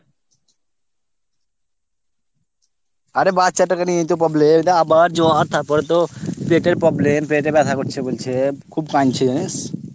আরে বাচ্চাটা কে নিয়েই তো problem তা আবার জ্বর তার পরেতো পেটের problem পেটে ব্যাথা করছে বলেছে খুব কাঁদছে। জানিস ?